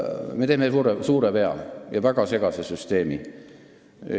Me teeme suure vea ja väga segase süsteemi.